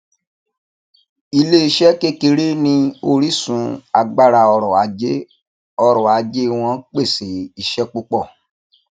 iléeṣé kékeré ni orísun agbára ọrọ ajé ọrọ ajé wọn pèsè iṣẹ púpọ